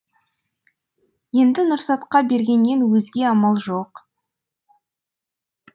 енді нұрсатқа бергеннен өзге амал жоқ